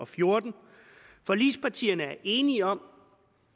fjorten forligspartierne er enige om